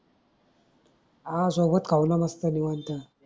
आह सोबत खाऊ ना मस्त निवांत